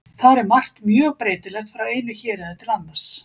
Þar er margt mjög breytilegt frá einu héraði til annars.